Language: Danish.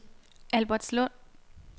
Albertslund